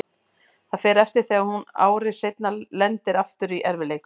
Það fer eftir þegar hún ári seinna lendir aftur í erfiðleikum.